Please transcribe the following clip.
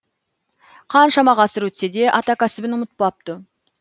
қаншама ғасыр өтсе де ата кәсібін ұмытпапты